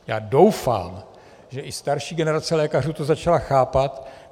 Já doufám, že i starší generace lékařů to začala chápat.